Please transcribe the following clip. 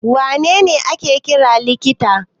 Wa ne ne ake kira likita?